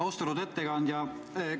Austatud ettekandja!